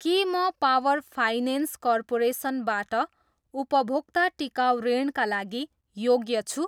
के म power finance corporation बाट उपभोक्ता टिकाउ ऋणका लागि योग्य छु?